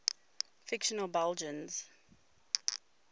fictional belgians